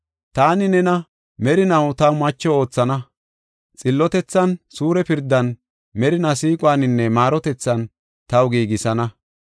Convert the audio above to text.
Taani nena merinaw taw macho oothana; xillotethan, suure pirdan, merinaa siiquwaninne maarotethan taw giigisana.